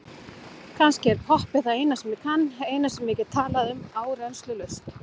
Kannski er poppið það eina sem ég kann, eina sem ég get talað um áreynslulaust.